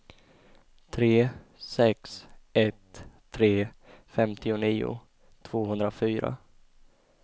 tre sex ett tre femtionio tvåhundrafyra